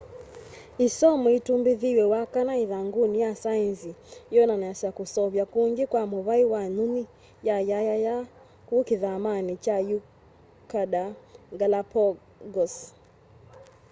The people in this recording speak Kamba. isomo itumbithiw'e wakana ithanguni ya saenzi yoonanasya kuseuvya kungi kwa muvai wa nyunyi ya yayaya kuu kithamani kya ecuador galapagos